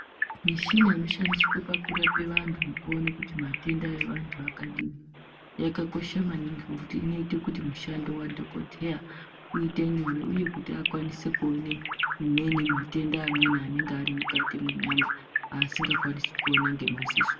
Mishina inoshandiswa pakurape vantu nekusona kuti matenda evantu akadi yakakosha maningi ngekuti inoita kuti mushando wadhokodheya uite nyore uye kuti akwanise kuone amweni matenda anenge ari kukati menyama asinga kwanisi ona ngemadziso.